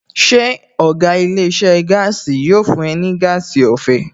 Ṣé ọ̀gá ilé iṣẹ́ gaasi yóò fún ẹ ní gas ọ̀fẹ́?